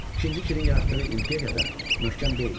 İkinci Kirin yaratdığı imperiya da möhkəm deyildi.